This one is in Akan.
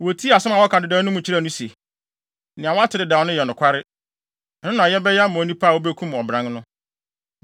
Wotii asɛm a wɔaka dedaw no mu kyerɛɛ no se, “Nea woate dedaw no yɛ nokware. Ɛno na yɛbɛyɛ ama onipa a obekum ɔbran no.”